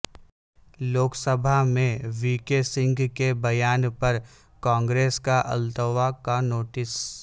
لوک سبھا میں V K Singh کے بیان پر کانگریس کا التوا کا نوٹس